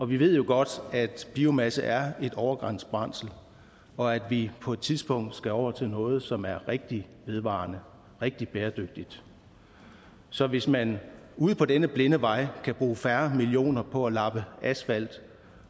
vi ved jo godt at biomasse er et overgangsbrændsel og at vi på et tidspunkt skal over til noget som er rigtig vedvarende rigtig bæredygtigt så hvis man ude på denne blinde vej kan bruge færre millioner på at lappe asfalt